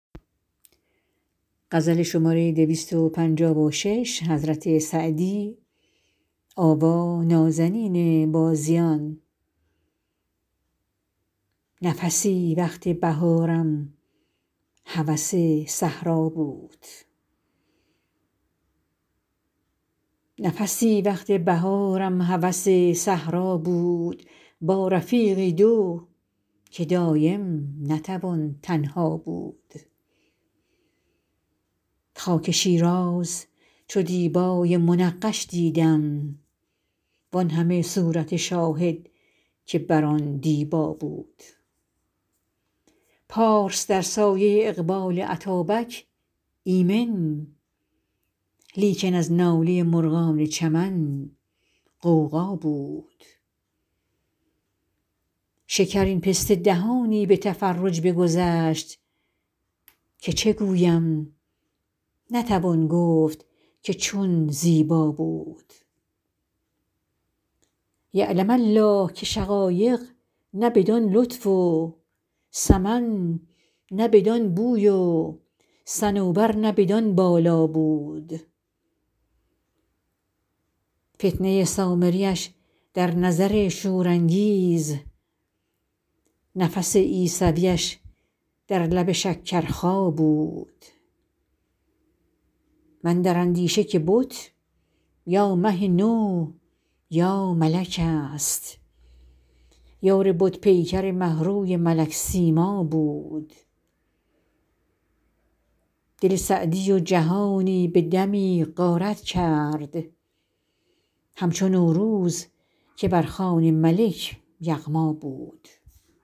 نفسی وقت بهارم هوس صحرا بود با رفیقی دو که دایم نتوان تنها بود خاک شیراز چو دیبای منقش دیدم وان همه صورت شاهد که بر آن دیبا بود پارس در سایه اقبال اتابک ایمن لیکن از ناله مرغان چمن غوغا بود شکرین پسته دهانی به تفرج بگذشت که چه گویم نتوان گفت که چون زیبا بود یعلم الله که شقایق نه بدان لطف و سمن نه بدان بوی و صنوبر نه بدان بالا بود فتنه سامریش در نظر شورانگیز نفس عیسویش در لب شکرخا بود من در اندیشه که بت یا مه نو یا ملک ست یار بت پیکر مه روی ملک سیما بود دل سعدی و جهانی به دمی غارت کرد همچو نوروز که بر خوان ملک یغما بود